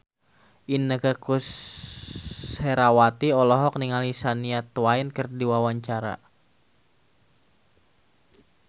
Inneke Koesherawati olohok ningali Shania Twain keur diwawancara